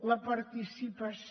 la participació